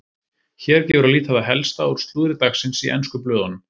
Hér gefur að líta það helsta úr slúðri dagsins í ensku blöðunum.